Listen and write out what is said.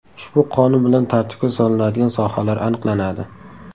Ushbu qonun bilan tartibga solinadigan sohalar aniqlanadi.